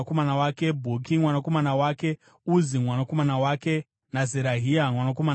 Bhuki mwanakomana wake, Uzi mwanakomana wake naZerahia mwanakomana wake,